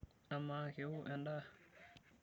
Amaa, kewo endaa/